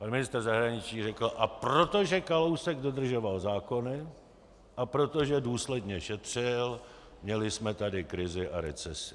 Pan ministr zahraničí řekl: A protože Kalousek dodržoval zákony a protože důsledně šetřil, měli jsme tady krizi a recesi.